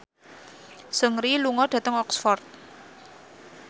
Seungri lunga dhateng Oxford